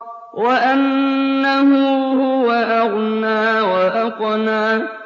وَأَنَّهُ هُوَ أَغْنَىٰ وَأَقْنَىٰ